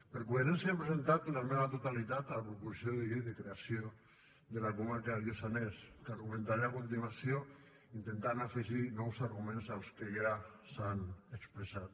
per coherència hem presentat una esmena a la totalitat a la proposició de llei de creació de la comarca del lluçanès que argumentaré a continuació intentant afegir nous arguments als que ja s’han expressat